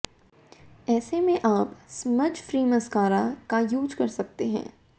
ऐसे में आप स्मज फ्री मस्कारा का यूज कर सकती हैं